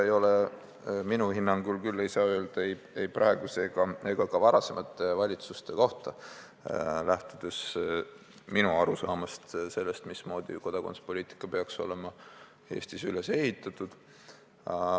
Minu hinnangul küll ei saa seda öelda ei praeguse ega ka varasemate valitsuste kohta, kui ma lähtun oma arusaamast, mismoodi kodakondsuspoliitika peaks olema Eestis üles ehitatud.